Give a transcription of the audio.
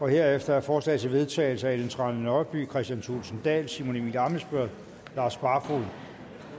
herefter er forslag til vedtagelse af ellen trane nørby kristian thulesen dahl simon emil ammitzbøll og lars barfoed